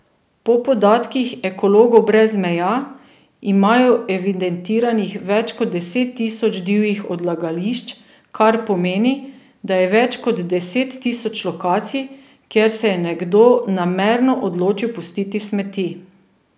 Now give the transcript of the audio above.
Po podatkih Ekologov brez meja imajo evidentiranih več kot deset tisoč divjih odlagališč, kar pomeni, da je več kot deset tisoč lokacij, kjer se je nekdo namerno odločil pustiti smeti.